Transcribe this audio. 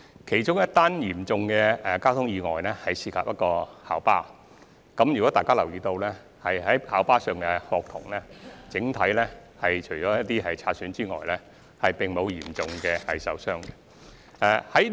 其中一宗嚴重的交通意外涉及一輛校巴，假如大家有留意，便知道校巴上的學童除有些擦傷外，整體而言，並無嚴重受傷。